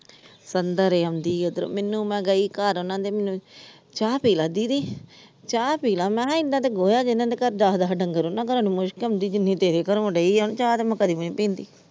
. ਮੈਨੂੰ ਮੈ ਗਈ ਘਰ ਉਹਨਾਂ ਦੇ ਮੈਨੂੰ ਚਾਹ ਪੀਲਾ ਦੀਦੀ ਚਾਹ ਪੀਲਾ ਮੈ ਕਿਹਾ ਇਹਨਾਂ ਗੋਆ ਜਿੰਨਾ ਦੇ ਘਰ ਦੱਸ ਦੱਸ ਡੰਗਰ ਉਹਨਾਂ ਘਰੋਂ ਨੀ ਮੁਸ਼ਕ ਆਉਂਦੀ ਜਿੰਨੀ ਤੇਰੇ ਘਰੋਂ ਆਉਣ ਦੀ ਆ ਚਾਹ ਤੇ ਮੈ ਕਦੇ ਵੀ ਨੀ ਪੀਂਦੀ।